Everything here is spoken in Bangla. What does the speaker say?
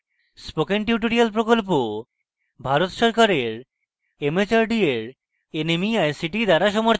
spoken tutorial project ভারত সরকারের mhrd এর nmeict দ্বারা সমর্থিত